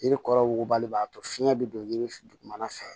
Yiri kɔrɔ wugubali b'a to fiɲɛ bɛ don yiri f dugumana fɛ